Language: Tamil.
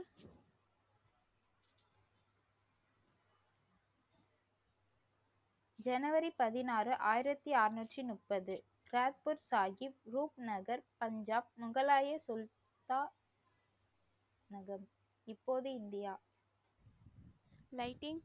ஜனவரி பதினாறு ஆயிரத்தி அறுநூற்றி முப்பது ஜாக்பூர் சாஹீப் ரூப்நகர் பஞ்சாப் முகலாய சுல்தா இப்போது இந்தியா